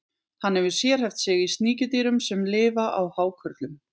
Hann hefur sérhæft sig í sníkjudýrum sem lifa á hákörlum.